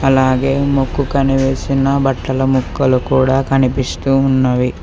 అలాగే ముక్కు కనిపిస్తున్న బట్టల ముక్కలు కూడా కనిపిస్తూ ఉన్నవి.